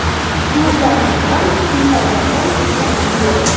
Klublarga ham, FIFAga ham ishonch yo‘q.